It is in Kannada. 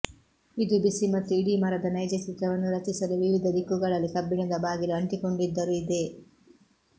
ಇದು ಬಿಸಿ ಮತ್ತು ಇಡೀ ಮರದ ನೈಜ ಚಿತ್ರವನ್ನು ರಚಿಸಲು ವಿವಿಧ ದಿಕ್ಕುಗಳಲ್ಲಿ ಕಬ್ಬಿಣದ ಬಾಗಿಲು ಅಂಟಿಕೊಂಡಿದ್ದರು ಇದೆ